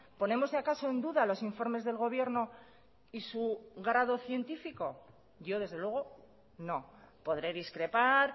ponemos acaso en duda los informes del gobierno y su grado científico yo desde luego no podré discrepar